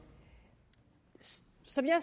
som jeg